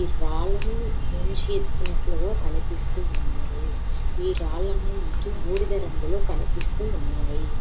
ఈ రాళ్ళను మించి ఎత్తినట్టుగా కనిపిస్తూ ఉన్నాయి. రాళ్ళ నీ మనకి బూడిద రంగులో కనిపిస్తూ ఉన్నాయి.